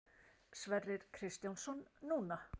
Sverrir Kristjánsson: Núna?